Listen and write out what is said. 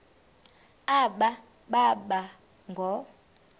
aba boba ngoo